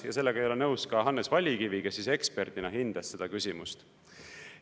Ja sellega ei ole nõus ka Hannes Vallikivi, kes eksperdina hindas seda küsimust.